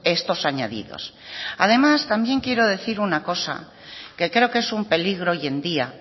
estos añadidos además también quiero decir una cosa que creo que es un peligro hoy en día